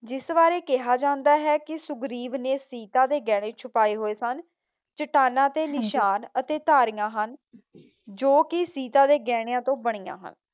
ਜਿਸ ਬਾਰੇ ਕਿਹਾ ਜਾਂਦਾ ਹੈ ਕਿ ਸੁਘਰੀਵ ਨੇ ਸੀਤਾ ਦੇ ਗਹਿਣੇ ਛੁਪਾਏ ਹੋਏ ਸਨ। ਚੱਟਾਨਾਂ ਤੇ ਨਿਸ਼ਾਨ ਅਤੇ ਧਾਰੀਆਂ ਹਨ ਜੋ ਕਿ ਸੀਤਾ ਦੇ ਗਹਿਣਿਆਂ ਤੋਂ ਬਣੀਆਂ ਹਨ।